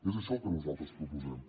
és això el que nosaltres proposem